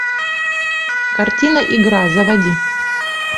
картина игра заводи